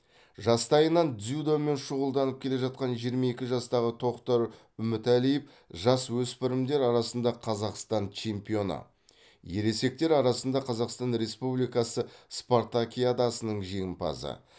жастайынан дзюдомен шұғылданып келе жатқан жиырма екі жастағы тоқтар үмітәлиев жасөспірімдер арасында қазақстан чемпионы ересектер арасында қазақстан республикасы спартакиадасының жеңімпазы